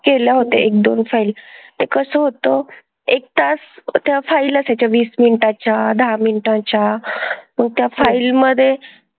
केलं होतं एक-दोन file. ते कसं होतं एक तास, त्या file असायच्या वीस मिनिटाच्या, दहा मिनिटाच्या. मग त्या file मधे,